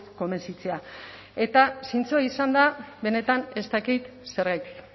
konbentzitzea eta zintzoa izanda benetan ez dakit zergatik